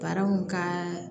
Baaraw ka